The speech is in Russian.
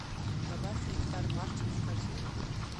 добавь нектар мартин в корзину